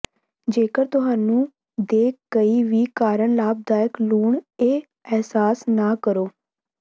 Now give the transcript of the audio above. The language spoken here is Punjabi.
ਜੇਕਰ ਤੁਹਾਨੂੰ ਦੇ ਕਈ ਵੀ ਕਰਨਾ ਲਾਭਦਾਇਕ ਲੂਣ ਇਹ ਅਹਿਸਾਸ ਨਾ ਕਰੋ